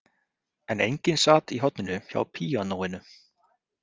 En enginn sat í horninu hjá píanóinu.